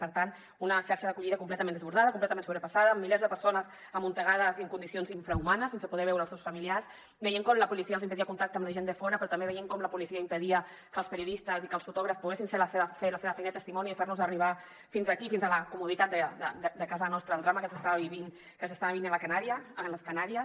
per tant una xarxa d’acollida completament desbordada completament sobrepassada amb milers de persones amuntegades i en condicions infrahumanes sense poder veure els seus familiars veient com la policia els impedia el contacte amb la gent de fora però també veient com la policia impedia que els periodistes i que els fotògrafs poguessin fer la seva feina de testimoni de fer nos arribar fins aquí fins a la comoditat de casa nostra el drama que s’està vivint a les canàries